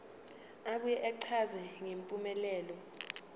abuye achaze ngempumelelo